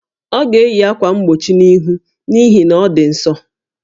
Ọ ga-eyi ákwà mgbochi íhù n'ihi na ọ dị ǹsọ́